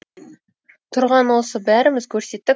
тұрған осы бәріміз көрсеттік